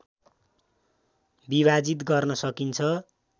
विभाजित गर्न सकिन्छ